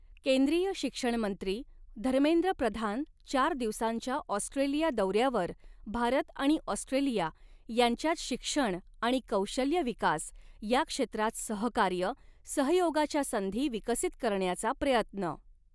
केंद्रीय शिक्षणमंत्री धर्मेंद्र प्रधान चार दिवसांच्या ॲास्ट्रेलिया दोऱ्यावर भारत आणि ॲास्ट्रेलिया यांच्यात शिक्षण आणि कौशल्य विकास या क्षेत्रात सहकार्य, सहयोगाच्या संधी विकसित करण्याचा प्रयत्न